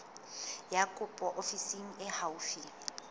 ya kopo ofising e haufi